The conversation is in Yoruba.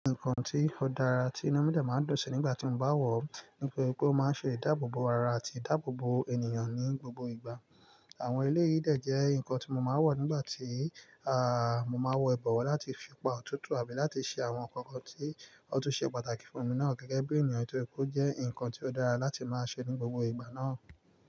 Nǹkan tí ó dára tí inu máa ń dun si nígbà tí mo bá wọ̀ ni pé o máa ń ṣe ìdáàbòbò ara àti ìdáàbòbò ènìyàn ní gbogbo ìgbà. Àwọn elé yìí dẹ̀ jẹ́ ǹkan tí mo máa wo nígbà tí, à mo máa n wọ ìbọ̀wọ̀ láti fi pa òtútù àbí láti ṣe àwọn ǹkankan tí ó tún ṣe pàtàkì fún mi náà gẹ́gẹ́ bí ènìyàn. Nítorí kó jẹ́ ǹkan tí ó dára láti máa ṣe ní gbogbo ìgbà náà.